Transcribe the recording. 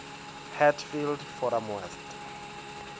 hatfield forum west